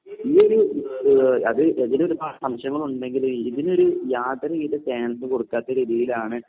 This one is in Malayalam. ഈയൊരു ഏഹ് അത് അതിലൊരുപാട് സംശയങ്ങൾ ഉണ്ടെങ്കിലും ഇതിനൊരു യാതൊരുവിധ കൊടുക്കാത്ത രീതിയിലാണ്